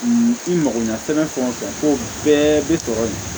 I mago ɲɛ fɛn o fɛn ko bɛɛ bɛ sɔrɔ yen